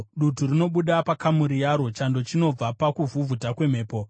Dutu rinobuda pakamuri yaro, chando chinobva pakuvhuvhuta kwemhepo.